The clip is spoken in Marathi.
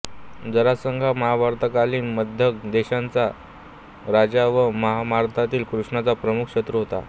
जरासंध हा महाभारतकालीन मगध देशाचा राजा व महाभारतातील कृष्णाचा प्रमुख शत्रू होता